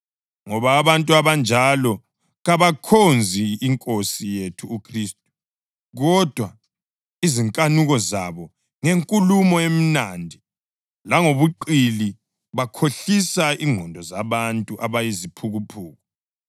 Ngoba abantu abanjalo kabakhonzi Nkosi yethu uKhristu, kodwa izinkanuko zabo. Ngenkulumo emnandi langobuqili bakhohlisa ingqondo zabantu abayiziphukuphuku.